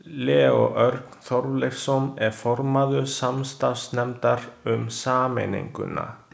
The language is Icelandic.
Leó Örn Þorleifsson er formaður samstarfsnefndar um sameininguna.